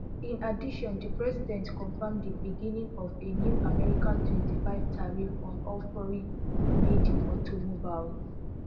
in addition di president confirm di beginning of a new american twenty-five tariff on all foreign madeautomobile